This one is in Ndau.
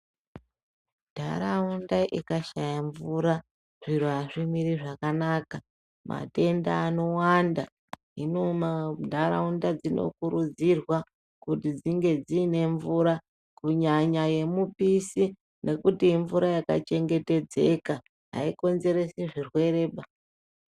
Nharaunda ikashaya mvura zviro azvimiri zvakanaka matenda anowanda hino nharaunda dzinokurudzirwa kuti dzinge dzine mvura kunyanya yemupisi ngekuti panodiwa mvura yakachengetedzeka isinga konzeresi zvirwere